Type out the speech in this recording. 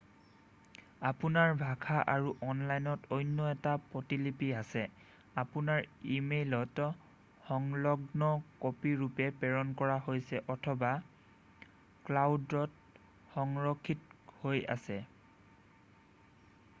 "আপোনাৰ ভাষা আৰু অনলাইনত অন্য এটা প্ৰতিলিপি আছে আপোনাৰ ই-মেইলত সংলগ্ন কপি ৰূপে প্ৰেৰণ কৰা হৈছে অথবা "ক্লাউড""ত সংৰক্ষিত হৈ আছে। "